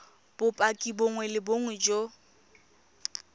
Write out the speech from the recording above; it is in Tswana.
bopaki bongwe le bongwe jo